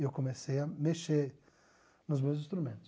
E eu comecei a mexer nos meus instrumentos.